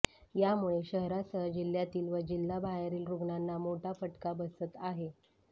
यामुळे शहरासह जिल्ह्यातील व जिल्हा बाहेरील रुग्णांना मोठा फटका बसत आहे